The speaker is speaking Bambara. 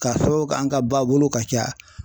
Ka fɔ k'an ka ba bolo ka ca